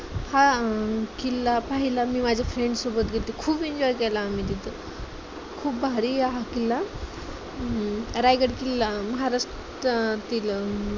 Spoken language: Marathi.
हा किल्ला पाहायला मी माझ्या friends सोबत गेले होते. खूप enjoy केला आम्ही तिथे खूप भारी हा आहे, हम्म रायगड किल्ला महाराष्ट्र किल्ल